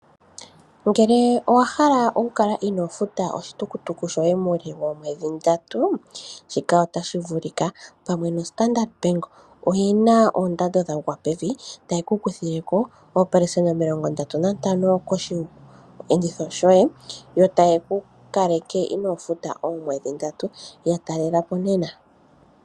Ngele owa hala oku kala inoo futa oshitukutuku shoye muule woomwedhi ndatu, shika otashi vuli ka. Pamwe noStandard Bank oyi na oondando dha gwa pevi, taye ku kuthile ko oopelesenda omilongo ndatu nantano koshiyenditho shoye, yo taye ku kaleke inoo futa oomwedhi ndatu. Ya talela po nena.